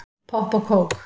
Popp og kók